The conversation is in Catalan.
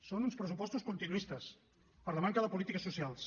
són uns pressupostos continuistes per la manca de polítiques socials